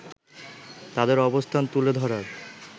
তাদের অবস্থান তুলে ধরার